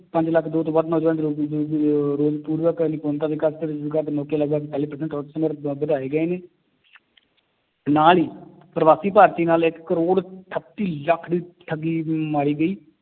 ਪੰਜ ਲੱਖ ਦੋ ਤੋਂ ਵੱਧ ਨੌਜਵਾਨ ਵਧਾਏ ਗਏ ਨੇ ਤੇ ਨਾਲ ਹੀ ਪਰਵਾਸੀ ਭਾਰਤੀ ਨਾਲ ਇੱਕ ਕਰੋੜ ਅਠੱਤੀ ਲੱਖ ਦੀ ਠੱਗੀ ਮਾਰੀ ਗਈ